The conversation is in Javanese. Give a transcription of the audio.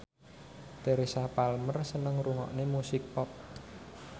Teresa Palmer seneng ngrungokne musik pop